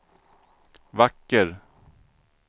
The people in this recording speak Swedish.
vacker